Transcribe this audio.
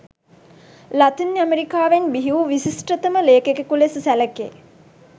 Latin ඇමරිකාවෙන් බිහිවූ විශිෂ්ටතම ලේඛකයෙකු ලෙස සැළකේ